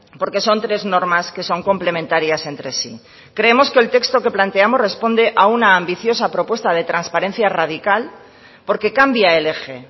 porque son tres normas que son complementarias entre sí creemos que el texto que planteamos responde a una ambiciosa propuesta de transparencia radical porque cambia el eje